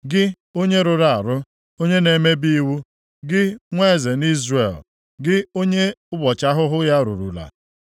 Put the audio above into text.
“ ‘Gị onye rụrụ arụ, onye na-emebi iwu, gị nwa eze nʼIzrel, gị onye ụbọchị ahụhụ ya rurula,